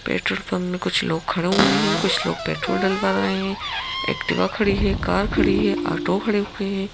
Petrol pump में कुछ लोग खड़े हुए हैं कुछ लोग पेट्रोल डलवा रहे हैं एक्टिवा खड़ी है कार खड़ी है ऑटो खड़े हुए हैं।